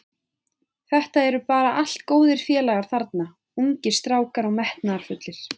Þetta eru bara allt góðir félagar þarna, ungir strákar og metnaðarfullir.